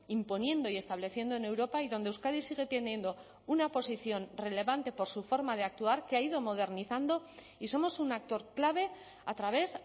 imponiendo y estableciendo en europa y donde euskadi sigue teniendo una posición relevante por su forma de actuar que ha ido modernizando y somos un actor clave a través